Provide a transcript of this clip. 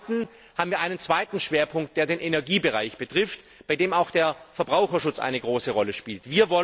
Zum Zweiten haben einen weiteren Schwerpunkt, der den Energiebereich betrifft, bei dem auch der Verbraucherschutz eine große Rolle spielt.